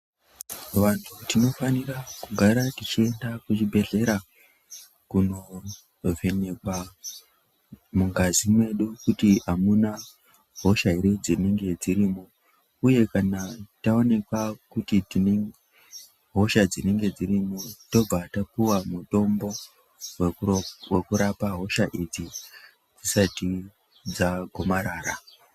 Vantu tinofanira kugara tichienda kuchibhedhlera kundovhenekwa mungazi mwedu kuti hamuna hosha here dzinenge dzirimo uye kana taonekwa kuti tinenge tinehosha dzinenge dzirimo tobva tapuwa mitombo wekurapa hosha idzi dzisati dzagomarara.